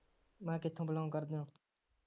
ਮੈਂ ਕਿਥੋ belong ਕਰਦੇ ਹੋ